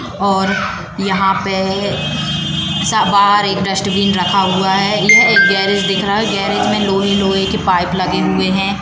और यहां पे स बाहर एक डस्टबिन रखा हुआ है यह एक गैरेज दिख रहा है गैरेज में लोहे लोहे की पाइप लगे हुएं हैं।